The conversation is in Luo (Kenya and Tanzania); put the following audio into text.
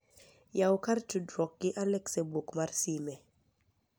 yawu kar tudruok gi Alex e buk mar sime